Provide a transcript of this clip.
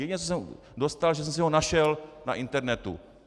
Jediné, co jsem dostal, že jsem si ho našel na internetu.